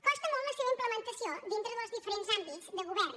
costa molt la seva implementació dintre dels diferents àmbits de govern